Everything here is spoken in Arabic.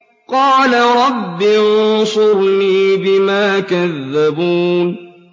قَالَ رَبِّ انصُرْنِي بِمَا كَذَّبُونِ